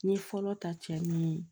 N ye fɔlɔ ta cɛ min ye